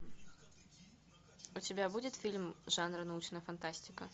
у тебя будет фильм жанра научная фантастика